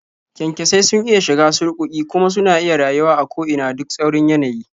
Kyankyasai sun iya shiga surƙuƙi, kuma suna iya rayuwa a ko ina duk tsaurin yanayi.